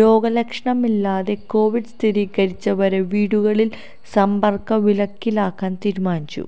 രോഗലക്ഷണമില്ലാതെ Covid സ്ഥിരീകരിച്ചവരെ വീടുകളില് സമ്പര്ക്ക വിലക്കിലാക്കാന് തീരുമാനിച്ചു